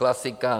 Klasika.